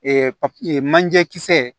papiye manje kisɛ